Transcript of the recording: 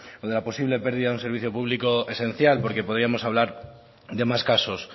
o de la posible pérdida de un servicio público esencial porque podríamos hablar de más casos